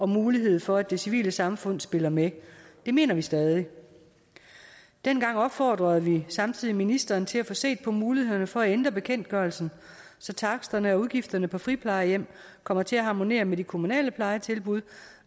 mulighed for at det civile samfund spiller med det mener vi stadig dengang opfordrede vi samtidig ministeren til at få set på mulighederne for at få ændret bekendtgørelsen så taksterne og udgifterne på friplejehjem kommer til at harmonere med de kommunale plejetilbud